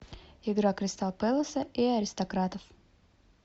игра кристал пэласа и аристократов